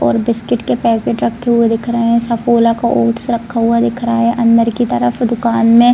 और बिस्किट के पैकेट रखे हुए दिख रहे हैं सफोला के ओट्स रखा हुआ दिख रहा है अंदर के तरफ दुकान में।